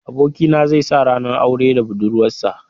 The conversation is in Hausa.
Abokina zai sa ranar aure da budurwarsa.